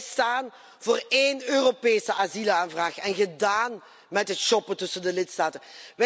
Wij staan voor één Europese asielaanvraag en gedaan met het shoppen tussen de lidstaten.